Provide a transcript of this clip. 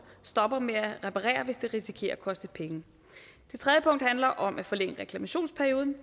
stopper med at reparere hvis det risikerer at koste penge tredje punkt handler om at forlænge reklamationsperioden